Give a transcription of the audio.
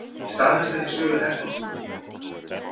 Staðfesta ekki sölu herþotna